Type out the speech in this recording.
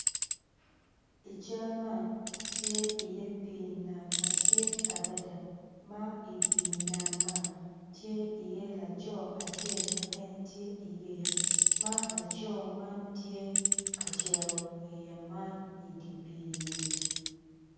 I cal man tye pii nam madit adada ma i pii nam man tye laco acel ma en tye i yeya ma laco man tye ka cero yeya man i dye pii-ni.